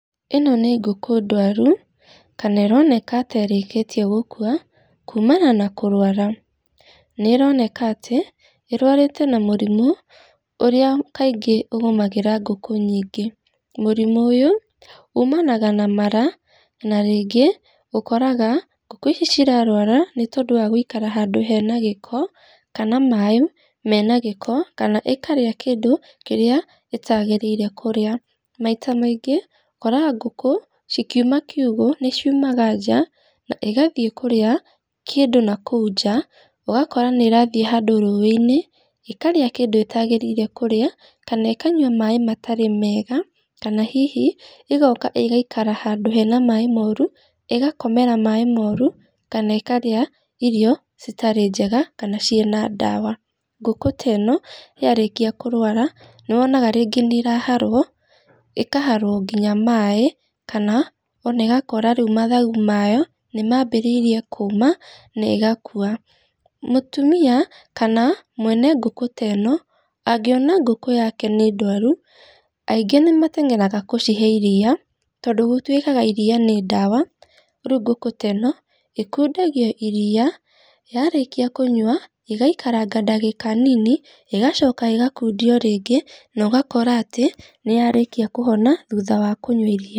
ĩno nĩ ngũkũ ndwaru, kana ĩroneka terĩkĩtie gũkua, kuumana na kũrwara, nĩ roneka atĩ, ĩrwarĩte na mũrimũ, ũrĩa kaingĩ ũgũmagĩra ngũkũ nyingĩ, mũrimũ ũyũ, ũmanaga na mara, na rĩngĩ ũkoraga ngũkũ ici cirarwara nĩ tondũ wa gũikara handũ hena gĩko, kana maĩ menagĩko, kana ĩkarĩa kĩndũ kĩrĩa ĩtagĩrĩire kũrĩa, maita maingĩ ũkoraga kũngũ cikiuma kiugo, nĩ ciumaga nja na ĩgathiĩ kũrĩa kĩndũ nakũu nja, ũgakora nĩ ĩrathiĩ handũ rũĩ-inĩ, ĩkarĩa kĩndũ ĩtagĩrĩire kũrĩa, kana ĩkanywa maĩ matarĩ mega, kana hihi egũka ĩgaikara handũ hena maĩ moru, ĩgakomera maĩ moru, kana ĩkarĩa irio citarĩ njega, kana cĩna ndawa, ngũkũ teno yarĩkia kũrwara nĩyonaga rĩngĩ nĩ ĩraharwo, ĩkaharwo nginya maĩ, kana ona ũgakora rĩu mathagu mayo nĩ mabĩrĩirie kuuma na ĩgakua, mũtumia kana mwene ngũkũ teno, angĩona ngũkũ yake nĩ ndwaru, aingĩ nĩ matengeraga gũcihe iria, tondũ gũtuĩkaga iria nĩ ndawa, rĩu ngũkũ teno ĩkundagio iria, yarĩkia kũnyua ĩgaikaranga ndagĩka nini, ĩgacoka ĩgakundio rĩngĩ, na ĩgakora atĩ nĩ yarĩkia kũhona thutha wa kũnywa iria.